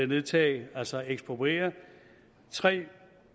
nedtage altså ekspropriere tre